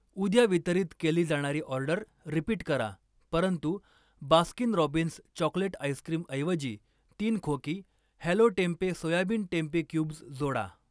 उद्या वितरित केली जाणारी ऑर्डर रिपीट करा, परंतु बास्किन रॉबिन्स चॉकलेट आईस्क्रिमऐवजी तीन खोकी Hello tempeh soybean tempeh cubes जोडा.